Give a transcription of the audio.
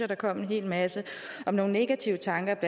der kom en hel masse om nogle negative tanker og